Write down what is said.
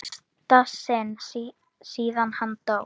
fyrsta sinn síðan hann dó.